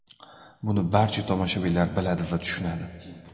Buni barcha tomoshabinlar biladi va tushunadi.